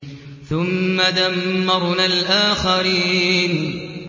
ثُمَّ دَمَّرْنَا الْآخَرِينَ